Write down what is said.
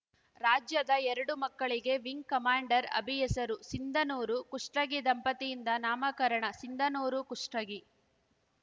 ರಾಜ್ಯದ ಎರಡು ಮಕ್ಕಳಿಗೆ ವಿಂಗ್‌ ಕಮಾಂಡರ್‌ ಅಭಿ ಹೆಸರು ಸಿಂಧನೂರು ಕುಷ್ಟಗಿ ದಂಪತಿಯಿಂದ ನಾಮಕರಣ ಸಿಂಧನೂರುಕುಷ್ಟಗಿ